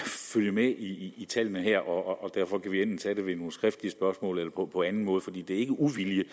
følge med i tallene her og derfor kan vi enten tage det ved nogle skriftlige spørgsmål eller på anden måde for det er ikke uvilje